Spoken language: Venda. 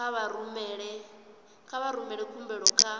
kha vha rumele khumbelo kha